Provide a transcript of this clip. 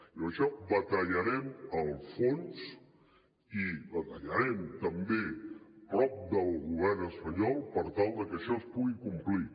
i en això batallarem a fons i batallarem també a prop del govern espanyol per tal de que això es pugui complir